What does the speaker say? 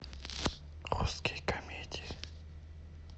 русские комедии